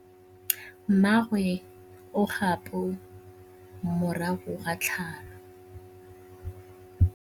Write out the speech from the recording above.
Mmagwe o kgapô morago ga tlhalô.